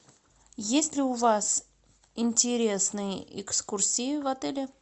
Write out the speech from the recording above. есть ли у вас интересные экскурсии в отеле